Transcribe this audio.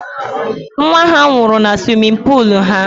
Nwa ha nwụrụ na suwimin puulu ha.